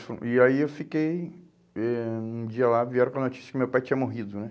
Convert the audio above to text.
E aí eu fiquei, eh um dia lá vieram com a notícia que meu pai tinha morrido, né?